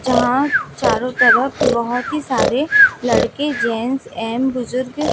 यहां चारों तरफ बहुत ही सारे लड़के जेंट्स एंड बुजुर्ग--